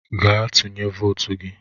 Gaa tụnye votu gị!